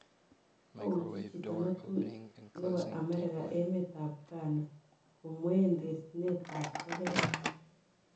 Kouchi chito netui nebo America emet ab Ghana komween terchinet ab toket